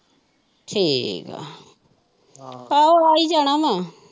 ਠੀਕ ਹੈ ਆਹੋ ਆ ਹੀ ਜਾਣਾ ਵਾ।